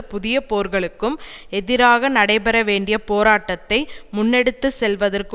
புதிய போர்களுக்கும் எதிராக நடைபெற வேண்டிய போராட்டத்தை முன்னெடுத்து செல்வதற்கு